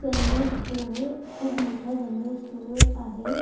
General store खूप मोटा general store आहे.